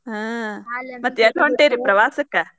ಹಾ